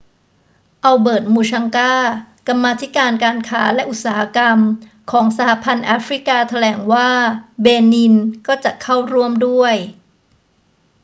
อัลเบิร์ต มูชังกา กรรมาธิการการค้าและอุตสาหกรรมของ สหพันธ์แอฟริกาแถลงว่าเบนินก็จะเข้าร่วมด้วย